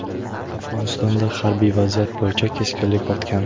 Afg‘onistonda harbiy vaziyat bo‘yicha keskinlik ortgan.